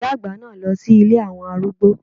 Ìyá àgbà náà lọ sí ilé àwọn arúgbó.